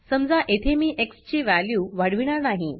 समजा येथे मी एक्स ची वॅल्यू वाढविणार नाही